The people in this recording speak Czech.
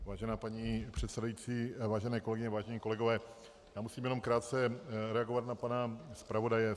Vážená paní předsedající, vážené kolegyně, vážení kolegové, já musím jenom krátce reagovat na pana zpravodaje.